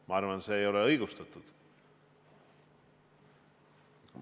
Ma arvan, see ei oleks õigustatud.